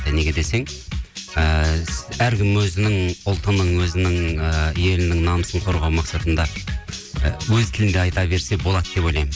неге десең ііі әркім өзінің ұлтының өзінің ііі елінің намысын қорғау мақсатында і өз тілінде айта берсе болады деп ойлаймын